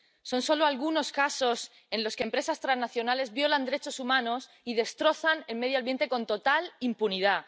Son solo algunos casos en los que empresas transnacionales violan derechos humanos y destrozan el medio ambiente con total impunidad.